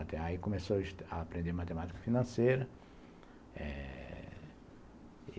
Aí comecei a aprender matemática financeira eh...